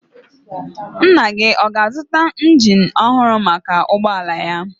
Nna gị ọ ga-azụta injin ọhụrụ maka ụgbọala ya?